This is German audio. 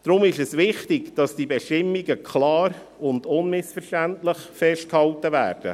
Deshalb ist es einerseits wichtig, dass die Bestimmungen klar und unmissverständlich festgehalten werden.